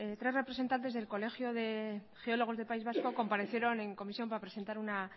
tres representantes del colegio de geólogos del país vasco comparecieron en comisión para presentar una